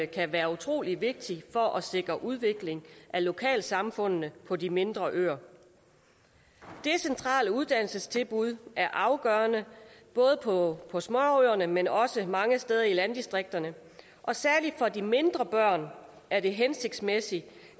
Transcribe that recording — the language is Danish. kan være utrolig vigtigt for at sikre udvikling af lokalsamfundene på de mindre øer decentrale uddannelsestilbud er afgørende både på på småøerne men også mange steder i landdistrikterne og særlig for de mindre børn er det hensigtsmæssigt